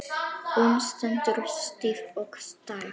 Hún stendur stíf og starir.